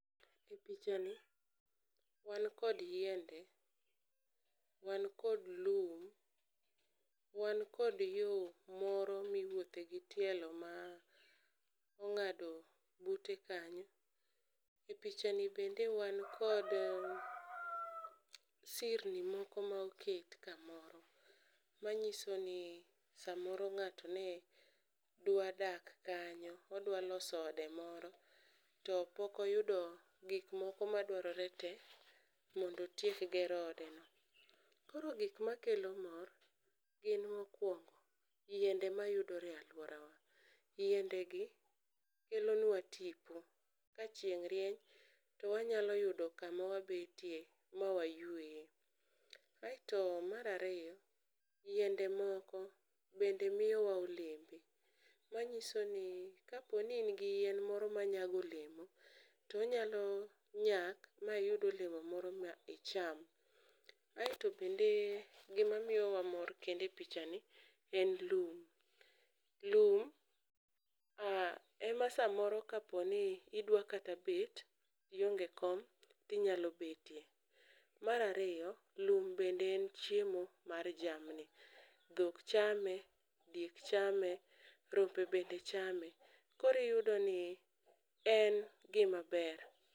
E picha ni wan kod yiende, wan kod lum, wan kod yo moro miwuothe gi tielo ma ong'ado bute kanyo. E picha ni bende wan kod sirni moko ma oket kamoro, ma nyiso ni samoro ng'ato ne dwa dak kanyo. Odwa loso ode moro to pokoyudo gik moko ma dwarore te mondo otiek gero ode no. Koro gik ma kelo mor gin mokwongo yiende mayudore e alwora wa. Yiende gi kelonwa tipo, ka chieng' rieny, to wanyalo yudo kama wabetie ma wayueye. Aeto marariyo, yiende moko bende miyowa olembe, manyiso ni kaponi in gi yien moro ma nyago olemo, to onyalo nyak ma iyud olemo moro ma icham. Aeto bende gima miyowa mor kende picha ni en lum, lum ema samoro kaponi idwa kata bet ionge kom tinyalo betie. Marariyo lum bende en chiemo mar jamni, dhok chame, diek chame, rombe bende chame. Koriyudo ni en gima ber.